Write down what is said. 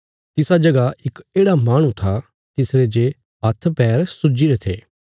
तिसा जगह इक येढ़ा माहणु था तिसरे जे हाथ पैर सूजीरे थे